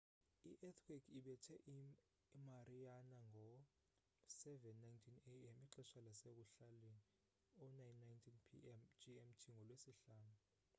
i-eathquake ibethe imariana ngo-07:19 a.m. ixesha lasekuhlaleni 09:19 p.m. gmt ngolwesihlanu